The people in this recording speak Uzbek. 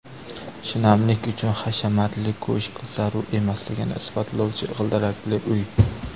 Shinamlik uchun hashamatli ko‘shk zarur emasligini isbotlovchi g‘ildirakli uy .